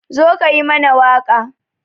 Zo ka yi mana waƙa